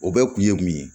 O bɛɛ kun ye mun ye